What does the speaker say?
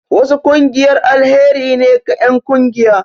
Wasu ƙungiyar alheri ne ga enƙungiya